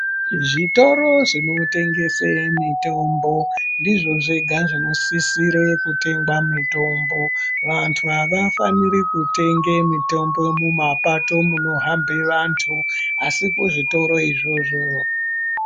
Zvitoro zvinotengese mitombo ndizvo zvega zvinosisire kutengwa mitombo vanhu avafaniri kutenge mitombo mumapato munohambe vantu asi kuzvitoro izvozvo.